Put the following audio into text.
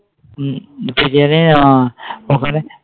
biryani আ ওখানে?